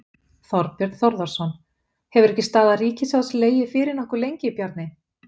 Þorbjörn Þórðarson: Hefur ekki staða ríkissjóðs legið fyrir nokkuð lengi, Bjarni?